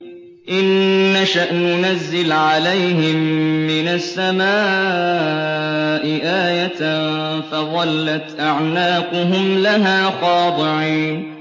إِن نَّشَأْ نُنَزِّلْ عَلَيْهِم مِّنَ السَّمَاءِ آيَةً فَظَلَّتْ أَعْنَاقُهُمْ لَهَا خَاضِعِينَ